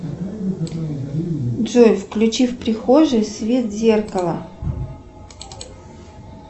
джой включи в прихожей свет зеркала